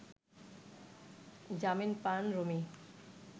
জামিন পান রুমি